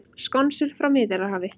Skonsur frá Miðjarðarhafi